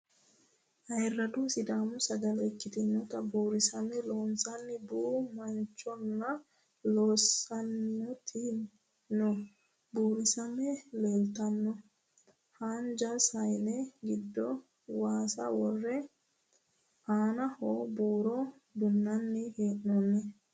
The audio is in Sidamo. Ayirrado sidaamu sagale ikkitinota buursame loossanni boo manchonna loosantanni noo buursame leeltanno. Haanja sayine giddo waasa worre aanaho buuro dinbanni hee'noonni.